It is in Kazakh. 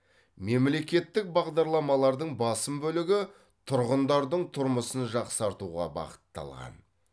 мемлекеттік бағдарламалардың басым бөлігі тұрғындардың тұрмысын жақсартуға бағытталған